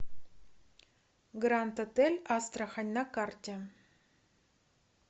гранд отель астрахань на карте